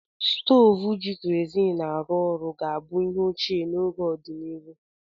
Stovu ji kerozin arụ orụ ga-abụ ihe ochie n'ọdịnihu.